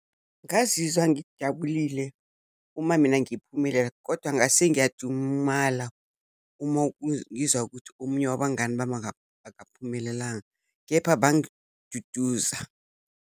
Ngazizwa ngijabulile uma mina ngiphumelela, kodwa ngase ngiyajumala uma ngizwa ukuthi omunye wabangani bami akaphumelelanga, kepha bangiduduza.